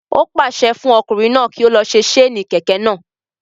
Ó pàṣẹ fún ọkùnrin náà kí ó lọ se séènì kẹ̀kẹ́ náà